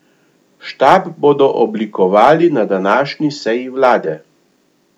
Štab bodo oblikovali na današnji seji vlade.